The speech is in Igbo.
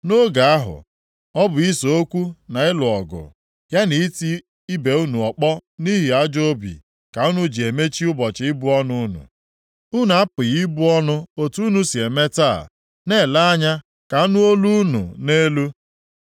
Nʼoge ahụ, ọ bụ ise okwu na ịlụ ọgụ, ya na iti ibe unu ọkpọ nʼihi ajọọ obi ka unu ji emechi ụbọchị ibu ọnụ unu. Unu apụghị ibu ọnụ otu unu si eme taa na-ele anya ka anụ olu unu nʼelu.